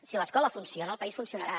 si l’escola funciona el país funcionarà